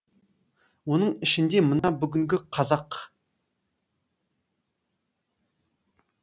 оның ішінде мына бүгінгі қазақ